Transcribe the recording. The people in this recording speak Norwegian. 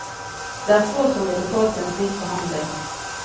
Det er få som ville tålt en slik behandling.